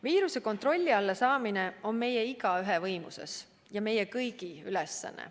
Viiruse kontrolli alla saamine on meie igaühe võimuses ja meie kõigi ülesanne.